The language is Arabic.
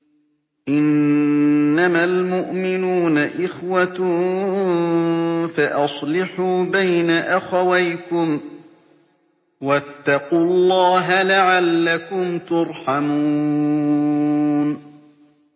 إِنَّمَا الْمُؤْمِنُونَ إِخْوَةٌ فَأَصْلِحُوا بَيْنَ أَخَوَيْكُمْ ۚ وَاتَّقُوا اللَّهَ لَعَلَّكُمْ تُرْحَمُونَ